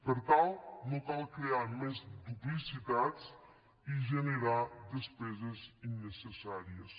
per tant no cal crear més duplicitats i generar despeses innecessàries